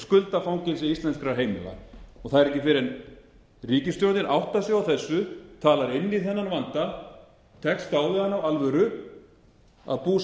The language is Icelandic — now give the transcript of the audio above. skuldafangelsi íslenskra heimila það er ekki fyrr en ríkisstjórnin áttar sig á þessu talar inn í þennan vanda tekst á við hann af